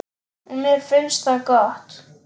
Og mér finnst það gott.